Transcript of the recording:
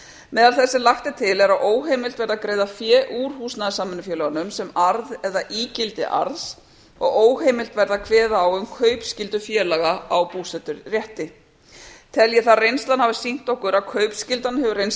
meðal þess sem lagt er til er að óheimilt verði að greiða fé úr húsnæðissamvinnufélögunum sem arð eða ígildi arðs og óheimilt verði að kveða á um kaupskyldu félaga á búseturétti tel ég þar að reynslan hafi sýnt okkur að kaupskyldan hefur reynst